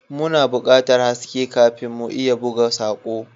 Muna buƙatar haske kafin mu iya buga sako.